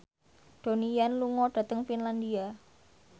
Donnie Yan lunga dhateng Finlandia